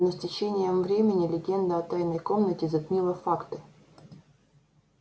но с течением времени легенда о тайной комнате затмила факты